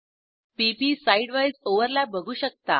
p P side wise overlap बघू शकता